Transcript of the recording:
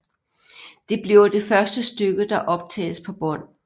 Det bliver det første stykke der optages på bånd